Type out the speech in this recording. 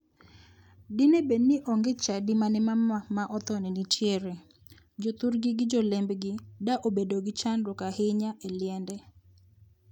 Dine bedi ni onge chadi mane mama ma othoni nitiere, jothurgi gi jolembgi da obedo gi chandruok ahinya e liende.